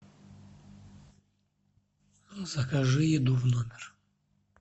закажи еду в номер